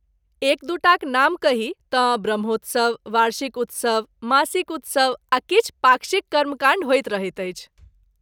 एक दू टाक नाम कही तँ ब्रह्मोत्सव, वार्षिक उत्सव, मासिक उत्सव आ किछु पाक्षिक कर्मकाण्ड होइत रहैत अछि।